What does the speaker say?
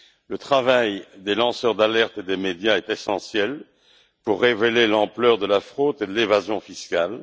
Le travail des lanceurs d'alerte et des médias est essentiel pour révéler l'ampleur de la fraude et de l'évasion fiscales.